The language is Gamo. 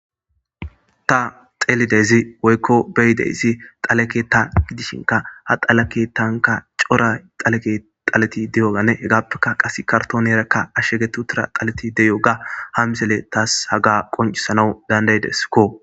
Ta xeelidezi woykko beyideysi xaleke ta gidishinka ha xalake tanka cora xaleke xaleti deyogane hegaappeka qase kartoon erakka ashshegetu tira xaleti deyo ga ha misele taas haga qoncisanau dandaydeskko